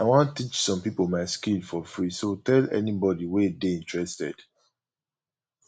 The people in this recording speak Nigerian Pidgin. i wan teach some people my skill for free so tell anybody wey dey interested